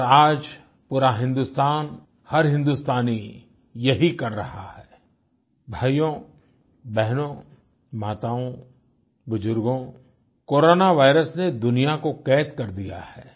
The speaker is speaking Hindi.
और आज पूरा हिंदुस्तान हर हिन्दुस्तानी यही कर रहा है भाइयोंबहनों माताओं बुजर्गो कोरोना वायरस ने दुनिया को क़ैद कर दिया है